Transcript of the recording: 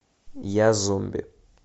я зомби